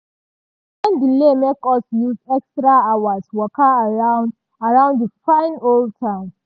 train delay make us use extra hours waka around around di fine old town.